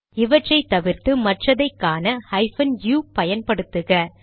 இவற்றை தவிர்த்து மற்றதை காண ஹைபன் யு பயன்படுத்துக